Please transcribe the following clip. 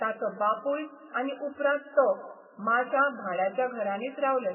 ताचो बापूय आनी उपरांत तो माश्यां भाड्याच्या घरांनीच रावले.